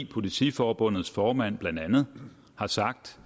politiforbundets formand har blandt andet sagt